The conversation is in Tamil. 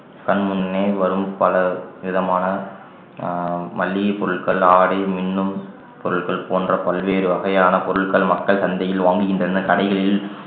கண்முன்னே வரும் பல விதமான அஹ் மளிகை பொருட்கள் ஆடை மின்னும் பொருட்கள் போன்ற பல்வேறு வகையான பொருட்கள் மக்கள் சந்தையில் வாங்குகின்றன கடைகளில்